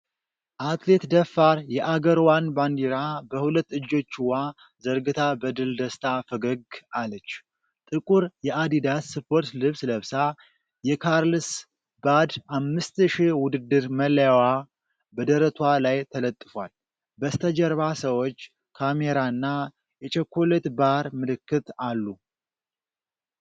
አትሌት ደፋር የአገርዋን ባንዲራ በሁለት እጆችዋ ዘርግታ በድል ደስታ ፈገግ አለች። ጥቁር የአዲዳስ ስፖርት ልብስ ለብሳ፣ የ"ካርልስባድ 5000" ውድድር መለያዋ በደረቷ ላይ ተለጥፏል። በስተጀርባ ሰዎች፣ ካሜራና የ"ቸኮሌት ባር" ምልክት አሉ።